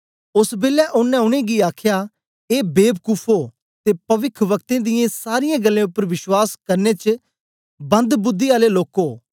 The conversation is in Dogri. ओस बेलै ओनें उनेंगी आखया ए बेबकुफो ते पविखवक्तें दियें सारीयें गल्लें उपर बश्वास करने च बंदबुद्दी आले लोको